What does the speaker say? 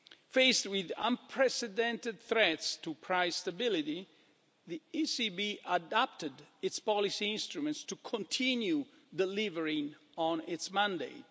Faced with unprecedented threats to price stability, the ECB adapted its policy instruments to continue delivering on its mandate.